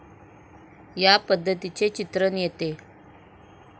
या पद्धतीचे चित्रण येते.